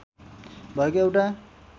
भएको एउटा